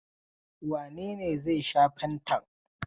Wane ne zai sha fantan?